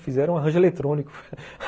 Fizeram um arranjo eletrônico